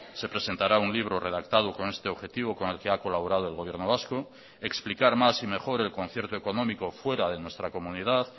se presentará un libro redactado con este objetivo con el que ha colaborado el gobierno vasco explicar más y mejor el concierto económico fuera de nuestra comunidad